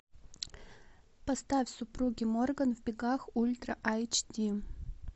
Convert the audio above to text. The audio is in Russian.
поставь супруги морган в бегах ультра айч ди